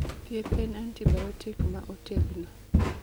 Thieth en antibiotic ma otegno